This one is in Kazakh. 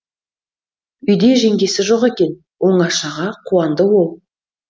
үйде жеңгесі жоқ екен оңашаға қуанды ол